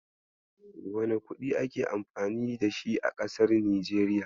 Wane kuɗi ake amfani da shi a kasar Nijeriya?